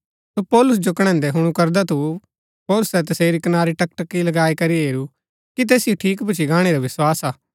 सो पौलुस जो कणैन्दा हुणु करदा थु पौलुसै तसेरी कनारी टकटकी लगाई करी हेरू कि तैसिओ ठीक भूच्ची गाणै रा विस्वास हा